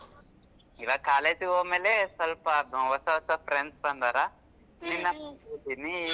ಇವಾಗ್ college ಹೋದ್ಮೇಲೆ ಸ್ವಲ್ಪ ಹೊಸ ಹೊಸ friends ಬಂದಾರಾ .